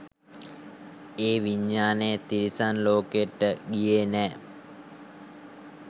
ඒ විඤ්ඤාණය තිරිසන් ලෝකයට ගියේ නෑ